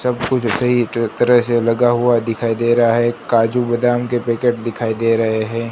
सब कुछ ऐसे ही से लगा हुआ दिखाई दे रहा है काजू बादाम के पैकेट दिखाई दे रहे हैं।